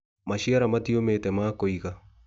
maciara mati ũmĩte ma kũiga.